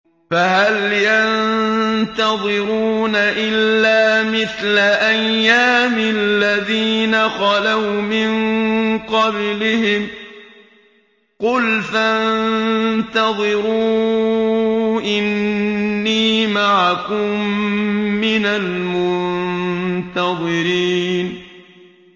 فَهَلْ يَنتَظِرُونَ إِلَّا مِثْلَ أَيَّامِ الَّذِينَ خَلَوْا مِن قَبْلِهِمْ ۚ قُلْ فَانتَظِرُوا إِنِّي مَعَكُم مِّنَ الْمُنتَظِرِينَ